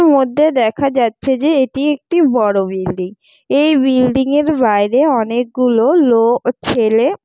মধ্যে দেখা যাচ্ছে যে এটি একটি বড় বিল্ডিং । এই বিল্ডিং এর বাইরে অনেকগুলো লোক ছেলে।